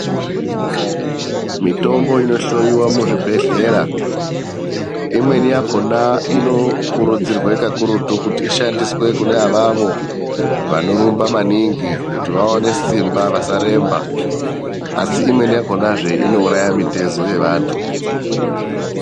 Mitombo inohloiwa muzvibhedhlera, imweni yakona inokurudzirwa kakurutu kuti ishandiswe kuneavavo vanorumba maningi kuti vawane simba vasaremba, asi imweni yakona inouraya mitezo yavantu .